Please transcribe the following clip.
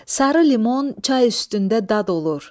Sarı limon çay üstündə dad olur.